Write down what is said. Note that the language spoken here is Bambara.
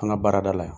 An ka baarada la